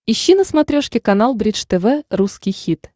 ищи на смотрешке канал бридж тв русский хит